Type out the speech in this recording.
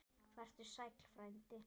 Vertu sæll frændi.